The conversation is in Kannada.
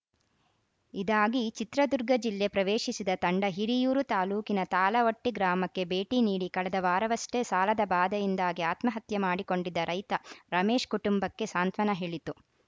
ಇದಾಗಿ ಚಿತ್ರದುರ್ಗ ಜಿಲ್ಲೆ ಪ್ರವೇಶಿಸಿದ ತಂಡ ಹಿರಿಯೂರು ತಾಲೂಕಿನ ತಾಳವಟ್ಟಿಗ್ರಾಮಕ್ಕೆ ಭೇಟಿ ನೀಡಿ ಕಳೆದ ವಾರವಷ್ಟೇ ಸಾಲದ ಬಾಧೆಯಿಂದಾಗಿ ಆತ್ಮಹತ್ಯೆ ಮಾಡಿಕೊಂಡಿದ್ದ ರೈತ ರಮೇಶ್‌ ಕುಟುಂಬಕ್ಕೆ ಸಾಂತ್ವನ ಹೇಳಿತು